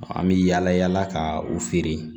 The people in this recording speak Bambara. An bɛ yaala yaala ka u feere